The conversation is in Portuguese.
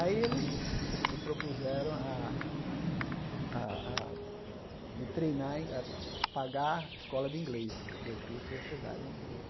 Aí eles se se propuseram a a a me treinar em, a pagar escola de inglês, porque o curso ia ser dado em inglês.